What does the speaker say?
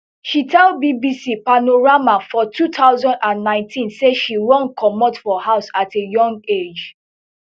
she tell bbc panorama for two thousand and nineteen say she run comot for house at a young age